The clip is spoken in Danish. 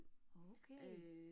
Okay